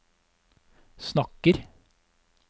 snakker